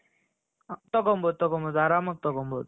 ತಗೊಂಬಹುದು ತಗೊಂಬಹುದು ಆರಾಮಾಗಿ ತಗೊಂಬಹುದು.